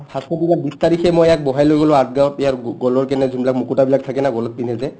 firstৰ দিনা বিছ তাৰিখে মই ইয়াক বহাই লৈ গ'লো আঠগাওঁত ইয়াৰ গ গলৰ কাৰণে যোনবিলাক মুকুতাবিলাক থাকে না গলত পিন্ধে যে